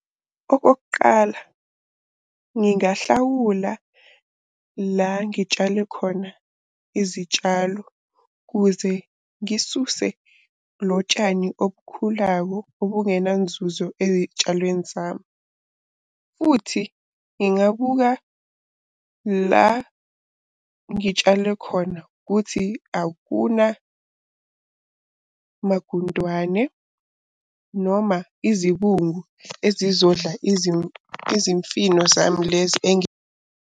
Okokuqala ngingahlawula la ngitshale khona izitshalo kuze ngisuse lo tshani obukhulawo obungenanzuzo ey'tshalweni zami. Futhi ngingabuka la ngitshale khona ukuthi akunamagundwane noma izibungu ezizodla izimfino zami lezi .